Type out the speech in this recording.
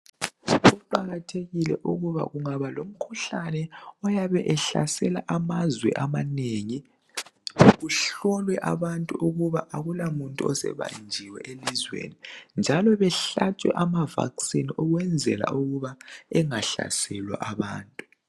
Kuqakathekile ukuba ungaba lomkhuhlane oyabe ehlasela amazwe amanengi kuhlolwe abantu ukuba akula muntu osebanjiwe emazweni njalo behlatshwe ama "Vaccine" ukwenzela ukuba bengahlaselwa abantu .